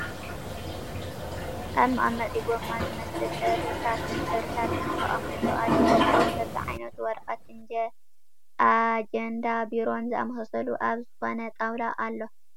ኣብ መቀመጢ ጎማ ዝመስል እርሳስን ሕብርታትን ተቀሚጡ ኣሎ ከምኡውን በቢ ዓይነቱ ወረቀት፣ ኣጀንዳ ፣ቢሮን ዝመሳሰሉ ኣብ ዝኮነ ጣውላ ኣሎ ።